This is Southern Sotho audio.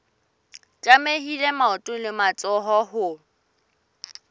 tlamehile maoto le matsoho ho